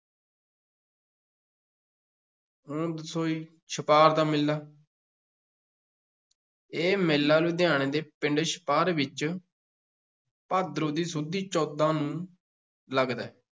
ਹੁਣ ਛਪਾਰ ਦਾ ਮੇਲਾ ਇਹ ਮੇਲਾ ਲੁਧਿਆਣੇ ਦੇ ਪਿੰਡ ਛਪਾਰ ਵਿੱਚ ਭਾਦਰੋਂ ਸੁਦੀ ਚੌਦਾਂ ਨੂੰ ਲੱਗਦਾ ਹੈ।